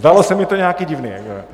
Zdálo se mi to nějaké divné.